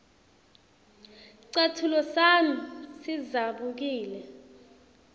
scatfulo sami sidzabukile